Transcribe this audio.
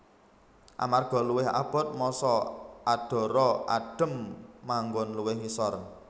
Amarga luwih abot massa adhara adhem manggon luwih ngisor